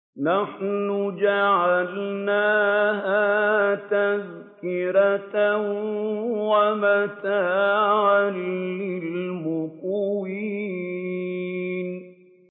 نَحْنُ جَعَلْنَاهَا تَذْكِرَةً وَمَتَاعًا لِّلْمُقْوِينَ